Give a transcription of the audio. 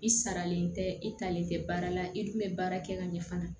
I saralen tɛ i talen tɛ baara la i dun bɛ baara kɛ ka ɲɛ fana